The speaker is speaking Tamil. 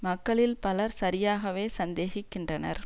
மக்களில் பலர் சரியாகவே சந்தேகிக்கின்றனர்